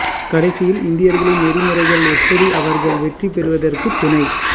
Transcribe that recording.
கடைசியில் இந்தியர்களின் நெறிமுறைகள் எப்படி அவர்கள் வெற்றி பெறுவதற்குத் துணை